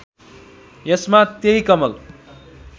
यसमा त्यही कमल